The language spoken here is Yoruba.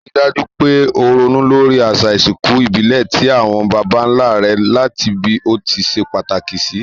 Rí dájú pe o ronú lórí àsà ìsinkù ìbílè ti àwon bàbánlá re làti bí o ti se pàtàkì sì